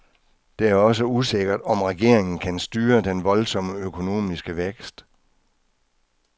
Det er også usikkert, om regeringen kan styre den voldsomme økonomiske vækst.